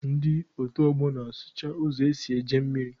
Ndị otu ọgbọ na-asụcha ụzọ esi eje mmiri.